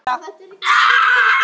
LÁRUS: Hann er ekkert veikur.